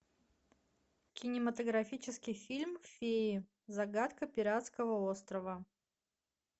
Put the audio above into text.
кинематографический фильм феи загадка пиратского острова